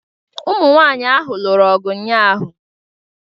Ụmụ nwanyị ahụ lụrụ ọgụ ụnyaahụ.